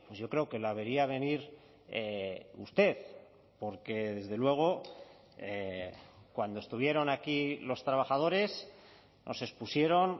yo creo que la vería venir usted porque desde luego cuando estuvieron aquí los trabajadores nos expusieron